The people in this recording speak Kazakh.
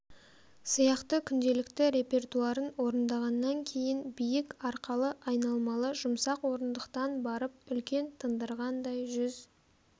сияқты күнделікті репертуарын орындағаннан кейін биік арқалы айналмалы жұмсақ орындықтан барып үлкен тындырғандай жүз